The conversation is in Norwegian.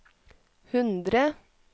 hundre